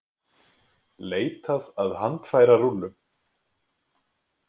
Leitað að handfærarúllum